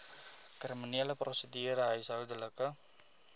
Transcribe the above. kriminele prosedure huishoudelike